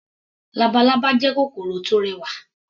Labalábá jẹ́ kòkòrò tó rẹwà.